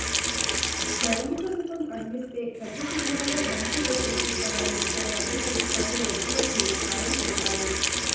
లైంగిక సుఖం అందిస్తే పెద్ద సినిమాల్లో మంచి రోల్ ఇప్పిస్తామని తన వద్దకు కొందరు వచ్చినట్లు పాయల్ తెలిపారు